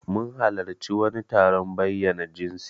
Mun halarci wani taron bayyana jinsi.